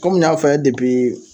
Kɔmi n y'a f'a' ye